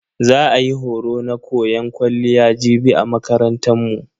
Za a yi horo na koyan kwalliya jibi a makarantan mu.